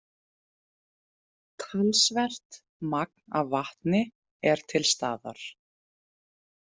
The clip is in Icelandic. Talsvert magn af vatni er til staðar.